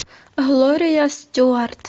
глория стюарт